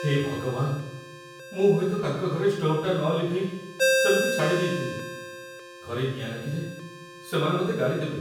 ହେ ଭଗବାନ, ମୁଁ ହୁଏତ ତାଙ୍କ ଘରେ ଷ୍ଟୋଭ୍‌ଟା ନଲିଭେଇ ସେମିତି ଛାଡ଼ି ଦେଇଥିଲି । ଘରେ ନିଆଁ ଲାଗିଲେ ସେମାନେ ମତେ ଗାଳି ଦେବେ ।